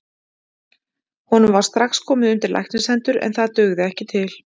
Honum var strax komið undir læknishendur, en það dugði ekki til.